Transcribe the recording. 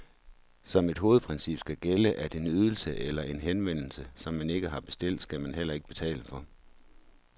Som et hovedprincip skal gælde, at en ydelse eller en henvendelse, som man ikke har bestilt, skal man heller ikke betale for.